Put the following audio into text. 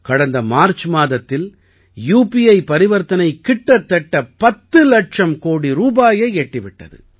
கடந்த மார்ச் மாதத்தில் யூபிஐ பரிவர்த்தனை கிட்டத்தட்ட 10 இலட்சம் கோடி ரூபாயை எட்டி விட்டது